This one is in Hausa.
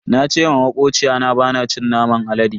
Na ce ma makociyata bana cin naman alade.